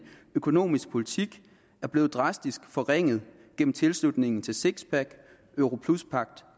økonomisk politik er blevet dramatisk forringet gennem tilslutningen til sixpack europluspagt